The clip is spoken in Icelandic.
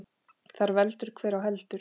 Þar veldur hver á heldur.